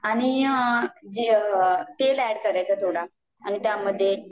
आणि जे तेल अॅड करायचा थोडा आणि त्यामध्ये